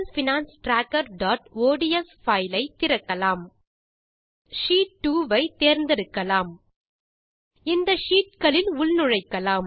personal finance trackerஒட்ஸ் spreadsheet ஐ திறப்போம் முதலில் ஷீட் 2 ஐ தேர்ந்தெடுக்கலாம் இந்த ஷீட் களில் உள்நுழைக்கலாம்